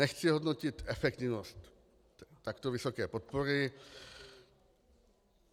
Nechci hodnotit efektivnost takto vysoké podpory.